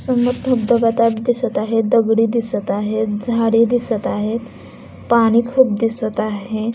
समोर धबधब्या टाइप दिसत आहे दगडी दिसत आहेत झाडे दिसत आहेत पाणी खूप दिसत आहे.